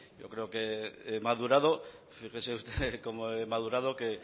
yo creo que he madurado fíjese usted cómo he madurado que